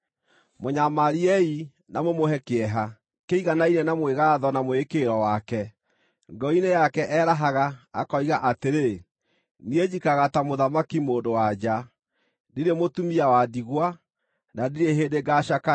Mũnyamariei, na mũmũhe kĩeha kĩiganaine na mwĩgaatho na mwĩĩkĩrĩro wake. Ngoro-inĩ yake erahaga, akoiga atĩrĩ, ‘Niĩ njikaraga ta mũthamaki-mũndũ-wa-nja; ndirĩ mũtumia wa ndigwa, na ndirĩ hĩndĩ ngaacakaya.’